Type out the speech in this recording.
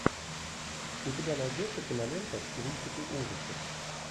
у тебя найдется кинолента в стилистике ужасов